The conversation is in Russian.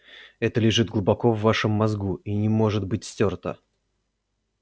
это лежит глубоко в вашем мозгу и не может быть стёрто